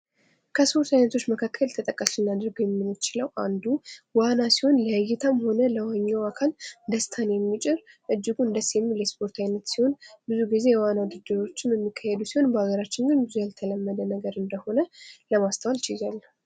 ከስፖርት አይነቶች መካከል ተጠቃሽ ልናደርገው የምንችለው አንዱ ዋና ሲሆን፤ ለእይታም ሆነ ለዋኚው አካል ደስታን የሚጭር እጅጉን ደስ የሚል የስፖርት አይነት ሲሆን ብዙ ጊዜ የዋና ዉድድር የሚካሄዱ ሲሆን በሃገራችን ግን ብዙ ያልተለመደ ነገር እንደሆነ ለማስተዋል ችያለሁ።